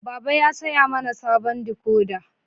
Baba ya saya mana sabon dikoda.